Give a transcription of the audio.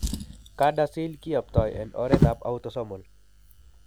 CADASIL kiyoptoi en oret ab autosomal